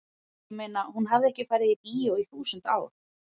ég meina hún hafði ekki farið í bíó í þúsund ár.